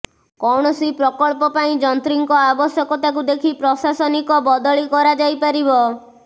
କୌଣସି ପ୍ରକଳ୍ପ ପାଇଁ ଯନ୍ତ୍ରୀଙ୍କ ଆବଶ୍ୟକତାକୁ ଦେଖି ପ୍ରଶାସନିକ ବଦଳି କରାଯାଇପାରିବ